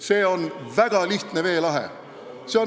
See on väga lihtne veelahe.